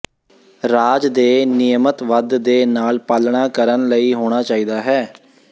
ਰਾਜ ਦੇ ਨਿਯਮਤ ਵੱਧ ਦੇ ਨਾਲ ਪਾਲਣਾ ਕਰਨ ਲਈ ਹੋਣਾ ਚਾਹੀਦਾ ਹੈ